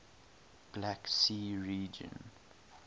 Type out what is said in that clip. black sea region